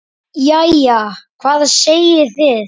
Jæja, hvað segið þið?